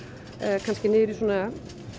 kannski niður í svona